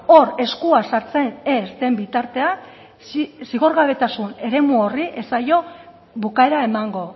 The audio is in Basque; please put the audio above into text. hor eskua sartzen ez den bitartean zigorgabetasun eremu horri ez zaio bukaera emango